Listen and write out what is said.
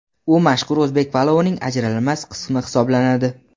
u mashhur o‘zbek palovining ajralmas qismi hisoblanadi.